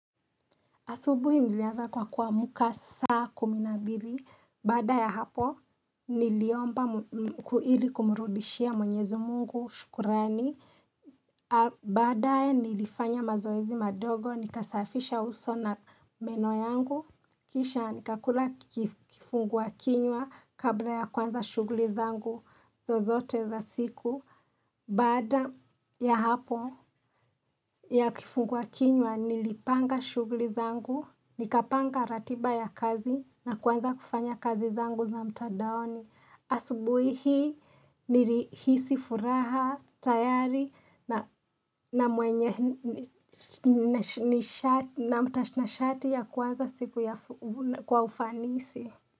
Asubuhi nilianza kwa kuamka saa kumi na mbili, baada ya hapo niliomba ili kumrudishia mwenyezi mungu, shukrani, baadaye nilifanya mazoezi madogo, nikasafisha uso na meno yangu, kisha nikakula kifungua kinywa kabla ya kuanza shughuli zangu, zozote za siku, Baada ya hapo ya kifungua kinywa nilipanga shughuli zangu Nikapanga ratiba ya kazi na kwanza kufanya kazi zangu na mtadaoni Asubui hii nilihisi furaha tayari na mwenye na mtanashati ya kuanza siku ya kwa ufanisi.